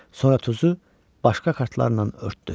Sonra tuzu başqa kartlarla örtdü.